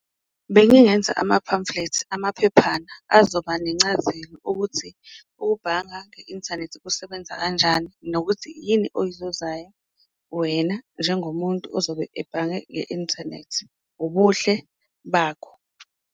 Bengingenza ama-pamphlets, amaphephana azoba nencazelo ukuthi ukubhanga nge-inthanethi kusebenza kanjani nokuthi yini oyizuzayo wena njengomuntu ozobe ebhange nge-inthanethi, ubuhle bakho.